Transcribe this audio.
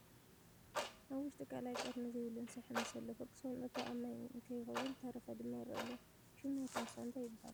ኣብ ውሽጢ ቃላይ ቀርኒ ዘይብሉ እንስሳ ይሕምስ ኣሎ ፍርቂ ሰውነቱ ኣብ ማይ እንይከውን ዝተረፈ ድም ይርአ ኣሎ ። ሹም ናይቲ እንስሳ እንታይ ይብሃል ?